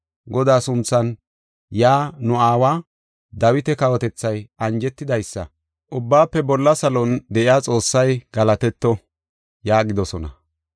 Godaa sunthan yaa nu aawa Dawita kawotethay anjetidaysa. Ubbaafe Bolla Salon de7iya Xoossay galatetto” yaagidosona.